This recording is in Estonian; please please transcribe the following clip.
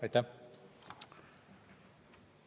Aitäh!